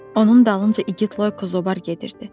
Onun dalınca igid Loyko Zobar gedirdi.